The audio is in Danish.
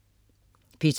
P2: